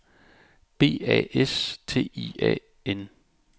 B A S T I A N